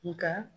Nga